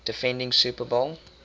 defending super bowl